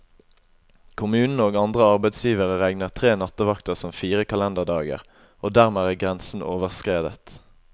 Kommunen og andre arbeidsgivere regner tre nattevakter som fire kalenderdager, og dermed er grensen overskredet.